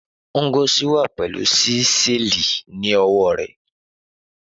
Ngozi wà pẹ̀lú Ṣísẹ́ẹ̀lì ní ọwọ́ rẹ̀,